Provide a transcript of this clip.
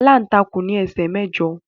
Aláǹtakùn ní ẹsẹ mẹ́jọ.